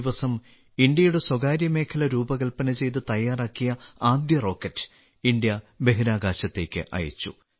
ഈ ദിവസം ഇന്ത്യയുടെ സ്വകാര്യമേഖല രൂപകല്പന ചെയ്ത് തയ്യാറാക്കിയ ആദ്യ റോക്കറ്റ് ഇന്ത്യ ബഹിരാകാശത്തേക്ക് അയച്ചു